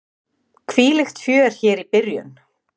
Hvílíkt fjör hér í byrjun!